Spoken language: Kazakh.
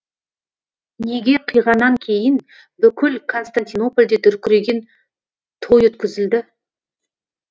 неке қиғаннан кейін бүкіл константинопольде дүркіреген той өткізілді